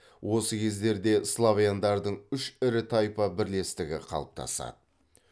осы кездерде славяндардың үш ірі тайпа бірлестігі қалыптасады